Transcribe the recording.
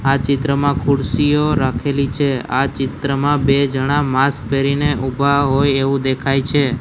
આ ચિત્રમાં ખુરસીઓ રાખેલી છે આ ચિત્રમાં બે જણા માસ્ક પહેરીને ઊભા હોઇ એવુ દેખાય છે.